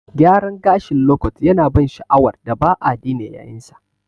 Gyaran gashin lokot yanada ban sha'awar da ba'a dena yayinsa.